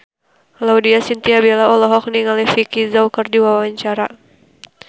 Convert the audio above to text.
Laudya Chintya Bella olohok ningali Vicki Zao keur diwawancara